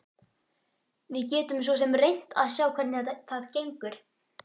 Við getum svo sem reynt að sjá hvernig það gengur.